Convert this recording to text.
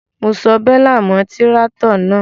Mo so bélà mọ́ tíráátọ̀ náà.